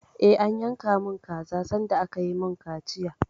Eh, an yanka mun kaza sanda aka yi mun kaciya